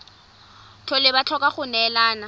tlhole ba tlhoka go neelana